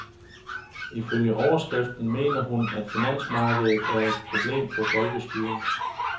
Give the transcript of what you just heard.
Ifølge overskriften mener hun, at finansmarkedet er et problem for folkestyret.